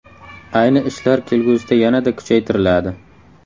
Ayni ishlar kelgusida yanada kuchaytiriladi.